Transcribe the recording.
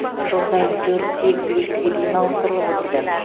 жыл сайын төрт сегіз лифтіге дейін ауыстырылып отырды